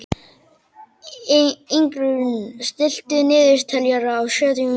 Ingrún, stilltu niðurteljara á sjötíu mínútur.